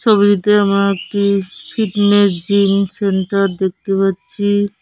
ছবিটিতে আমরা একটি ফিটনেস জিম সেন্টার দেখতে পাচ্ছি।